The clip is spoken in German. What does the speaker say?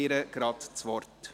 Sie hat das Wort.